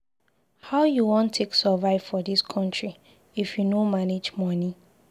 How you wan take survive for dis country if you no manage money?